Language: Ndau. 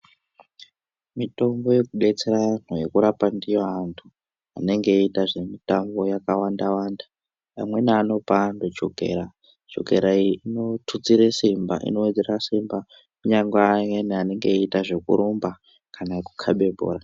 Mitombo yekudetsera anhu, yekurapa ndiyo vantu anenge eiita zvemitambo yakawanda-wanda. Amweni anopa antu chokera. Chokera iyi inotutsire simba, inowedzera simba kunyangwe ayani anenge eiita zvekurumba kana ekukabe bhora.